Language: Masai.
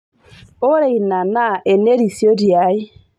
ore ina tito naa ene risioti ai